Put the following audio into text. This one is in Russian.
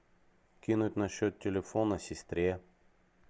кинуть на счет телефона сестре